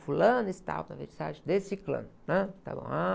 Fulano está vernissage desse clã. Ãh, está bom...